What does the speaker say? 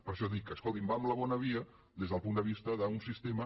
per això dic escolti’m va en la bona via des del punt de vista d’un sistema